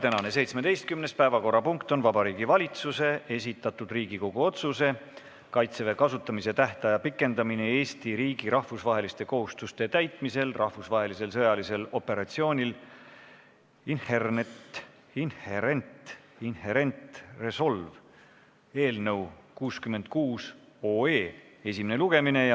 Tänane 17. päevakorrapunkt on Vabariigi Valitsuse esitatud Riigikogu otsuse "Kaitseväe kasutamise tähtaja pikendamine Eesti riigi rahvusvaheliste kohustuste täitmisel rahvusvahelisel sõjalisel operatsioonil Inherent Resolve" eelnõu 66 esimene lugemine.